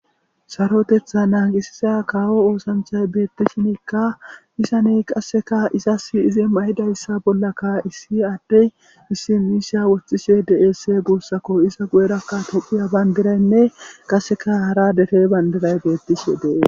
Sarotetha naagisiza kawo osanchay beettishinikka izane qasseka izas izi ma7idayssa bollaka issi addey issi miisha woththishe de7esse guussako iza guyerakka tophphiya bandiraynne qasseka hara dere bandiray beettishe de7es.